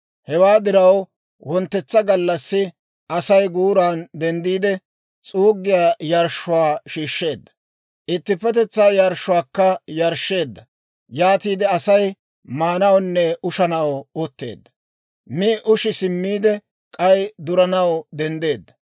Hewaa diraw, wonttetsa gallassi Asay guuran denddiide, s'uuggiyaa yarshshuwaa shiishsheedda; ittippetetsaa yarshshuwaakka yarshsheedda. Yaatiide Asay maanawunne ushanaw utteedda. Mi ushi simmiide, k'ay duranaw denddeedda.